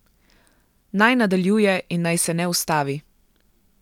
Naj nadaljuje in naj se ne ustavi.